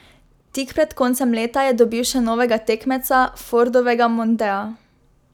Tik pred koncem leta je dobil še novega tekmeca, Fordovega mondea.